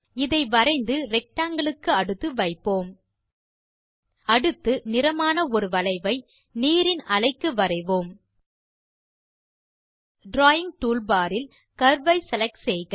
இதை வரைந்து ரெக்டாங்கில் க்கு அடுத்து வைப்போம் அடுத்து நிறமான ஒரு வளைவை நீரின் அலைக்கு வரைவோம் டிராவிங் டூல்பார் இல்Curve செலக்ட் செய்க